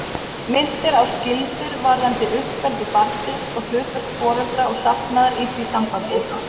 Minnt er á skyldur varðandi uppeldi barnsins og hlutverk foreldra og safnaðar í því sambandi.